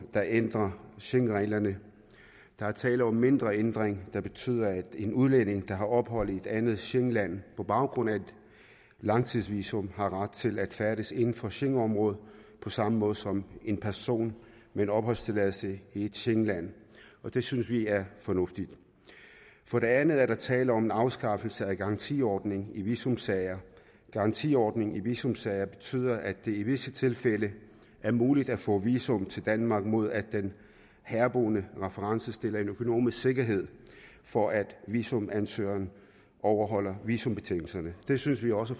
der ændrer schengenreglerne der er tale om en mindre ændring der betyder at en udlænding der har ophold i et andet schengenland på baggrund af et langtidsvisum har ret til at færdes inden for schengenområdet på samme måde som en person med opholdstilladelse i et schengenland og det synes vi er fornuftigt for det andet er der tale om en afskaffelse af garantiordning i visumsager garantiordning i visumsager betyder at det i visse tilfælde er muligt at få visum til danmark mod at den herboende reference stiller økonomisk sikkerhed for at visumansøgeren overholder visumbetingelserne det synes vi også